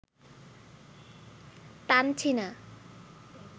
টানছি না